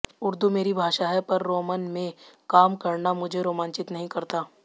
उर्दू मेरी भाषा है पर रोमन में काम करना मुझे रोमांचित नहीं करता